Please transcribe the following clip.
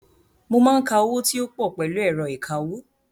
Mo máa ń ka owó tí ó pọ̀ pẹ̀lú ẹ̀rọ ìkawó.